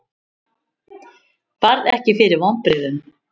Varð ekki fyrir vonbrigðum